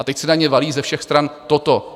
A teď se na ně valí ze všech stran toto.